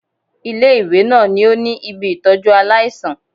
Ilé-ìwé náà ò ní ibi ìtọ́jú aláìsàn